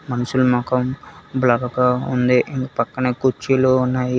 మనుషులు మొఖం బ్లర్ గా ఉంది పక్కనే కుర్చీలు ఉన్నాయీ.